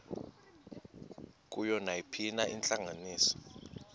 kuyo nayiphina intlanganiso